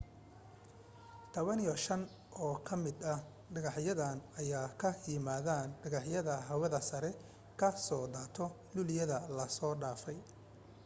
15 oo ka mid ah dhegaxyadan ayaa ka yimaadeen dhagaxyada hawada sare ka soo daatay luuliyada lasoo dhaafay